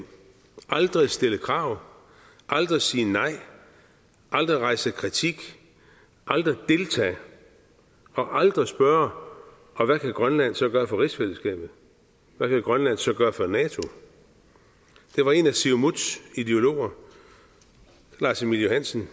aldrig at stille krav aldrig at sige nej aldrig at rejse kritik aldrig at deltage og aldrig at spørge hvad kan grønland så gøre for rigsfællesskabet hvad kan grønland så gøre for nato det var en af siumuts ideologer lars emil johansen